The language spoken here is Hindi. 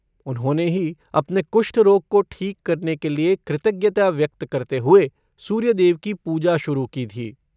उन्होंने ही अपने कुष्ठ रोग को ठीक करने के लिए कृतज्ञता व्यक्त करते हुए सूर्यदेव की पूजा शुरू की थी।